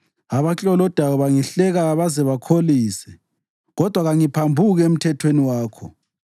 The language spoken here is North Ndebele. Abaklolodayo bangihleka baze bakholise, kodwa kangiphambuki emthethweni wakho.